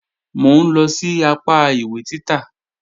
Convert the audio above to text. Mò ń lọ sí apá ìwé títà